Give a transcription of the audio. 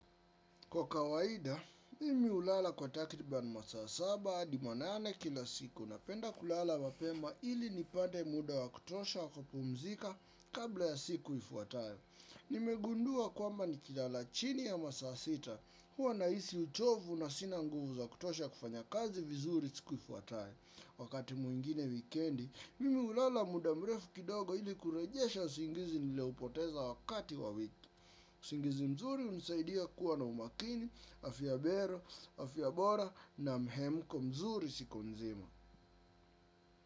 Kwa kawaida, mimi hulala kwa takriban masaa saba hadi manane kila siku napenda kulala mapema ili nipate muda wa kutosha wa kupumzika kabla ya siku ifuatayo. Nimegundua kwamba nikilala chini ya masaa sita huwa nahisi uchovu na sina nguvu za kutosha kufanya kazi vizuri siku ifuatayo. Wakati mwingine wikendi, mimi hulala muda mrefu kidogo ili kurejesha usingizi niloupoteza wakati wa wiki. Usingizi mzuri hunisaidia kuwa na umakini, afya bero, afya bora na mhemko mzuri siku nzima.